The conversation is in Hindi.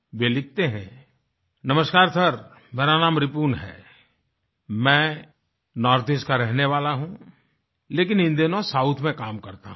वे लिखते हैं नमस्कार सर मेरा नाम रिपुन है मैं नॉर्थईस्ट का रहने वाला हूँ लेकिन इन दिनों साउथ में काम करता हूँ